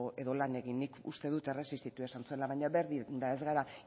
edo lan egin nik uste dut erresistitu esan zuela baina berdin da ez gara